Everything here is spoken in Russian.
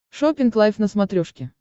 шоппинг лайв на смотрешке